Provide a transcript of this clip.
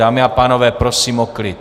Dámy a pánové, prosím o klid!